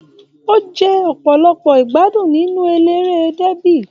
O jẹ ọpọlọpọ igbadun nínú eléré débi.